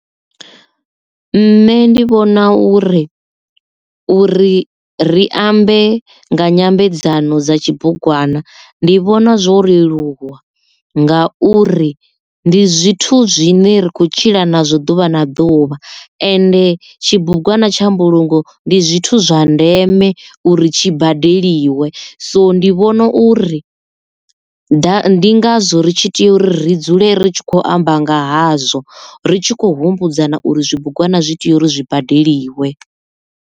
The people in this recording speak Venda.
Nṋe ndi vhona uri uri ri ambe nga nyambedzano dza tshibugwana ndi vhona zwo leluwa nga uri ndi zwithu zwine ra khou tshila nazwo ḓuvha na ḓuvha ende tshibugwana tsha mbulungo ndi zwithu zwa ndeme uri tshi badeliwe so ndi vhona uri ḓa ndi ngazwo ri tshi tea u ri dzule ri tshi khou amba nga hazwo ri tshi khou humbudzana uri zwibugwana zwi tea uri zwi badeliwe.